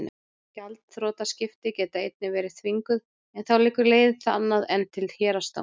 gjaldþrotaskipti geta einnig verið þvinguð en þá liggur leiðin annað en til héraðsdóms